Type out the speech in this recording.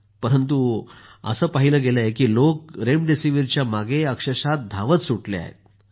परंतु असं पाहिलं गेलं आहे की लोक रेमडेसिवीरच्या मागे धावत सुटले आहेत